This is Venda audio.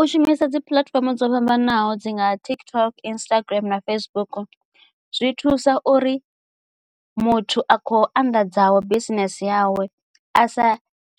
U shumisa dzi puḽatifomo dzo fhambanaho dzi nga TikTok, Instagram na Facebook zwi thusa uri muthu a khou anḓadzaho bisinese yawe a sa